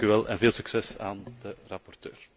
Dank u wel en veel succes aan de rapporteur.